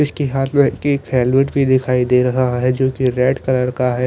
इसके हाथ में एक फेलविट दिखाई दे रहा हैं जो की रेड कलर का हैं--